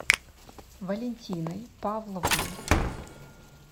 валентиной павловной